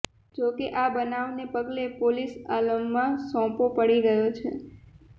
જોકે આ બનાવને પગલે પોલીસ આલમમાં સોંપો પડી ગયો છે